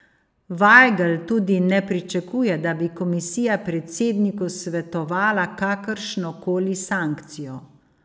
Vajgl tudi ne pričakuje, da bi komisija predsedniku svetovala kakršnokoli sankcijo.